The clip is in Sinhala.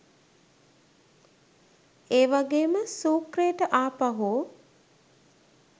ඒවගේම සූක්‍රේට ආපහු